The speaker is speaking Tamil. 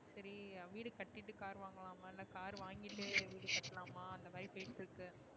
சரி வீடு கட்டிட்டு car வாங்கலாமா இல்ல car வாங்கிட்டு வீடு கட்டலாமா அந்தமாரி பேச்சு இருக்கு.